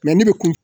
ne bɛ kun